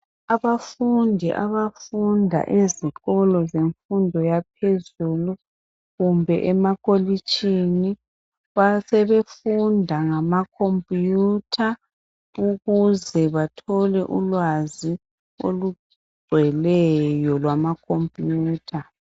Abafundi abafunda ezikolo zemfundo yaphezulu kumbe emakolitshini .Basebefunda ngama computer ukuze bathole ulwazi olugcweleyo lwama computer .